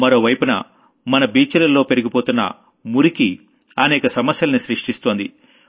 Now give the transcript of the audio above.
మరో వైపున మన బీచ్ లలో పెరిగిపోతున్న మురికి అనేక సమస్యల్ని సృష్టిస్తోంది